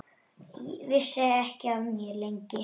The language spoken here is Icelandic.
Vissi ekki af mér, lengi.